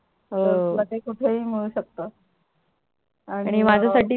हो ते तुला कुठे मिळू शकत